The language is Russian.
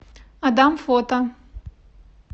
адам фото